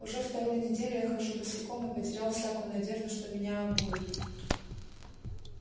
уже вторую неделю я хожу босиком и потерял всякую надежду что меня обуют